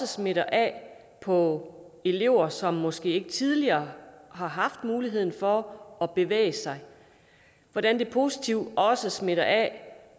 smitter af på elever som måske ikke tidligere har haft muligheden for at bevæge sig og hvordan det positivt også smitter af